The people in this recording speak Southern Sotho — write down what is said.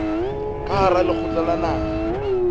ka hara lekgotla la naha